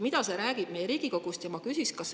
Mida see räägib meie Riigikogu kohta?